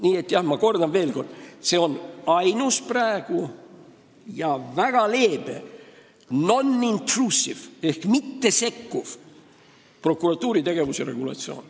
Nii et ma kordan veel kord: meie ees on praegu ainus, väga leebe ja non-intrusive ehk mittesekkuv prokuratuuri tegevuse regulatsioon.